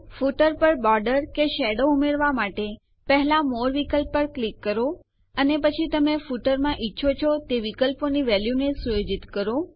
footer પર border કે shadow ઉમેરવા માટે પહેલા મોરે વિકલ્પ પર ક્લિક કરો અને પછી તમે ફૂટરમાં મુકવા ઈચ્છો છો તે વિકલ્પોની વેલ્યુ ને સુયોજિત કરો